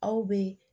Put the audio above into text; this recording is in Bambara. Aw bɛ